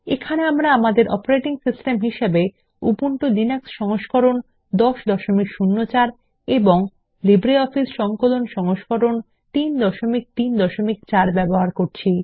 এখানে আমরা আমাদের অপারেটিং সিস্টেম হিসেবে উবুন্টু লিনাক্স সংস্করণ 1004 এবং লিব্রিঅফিস সংকলন সংস্করণ 334 ব্যবহার করছি